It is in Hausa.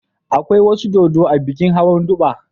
Akwai wasu dodo a bikin Hawan Durbar.